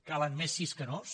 calen més sís que nos